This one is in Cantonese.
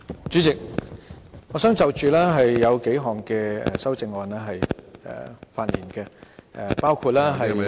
主席，我想就數項修正案發言，包括......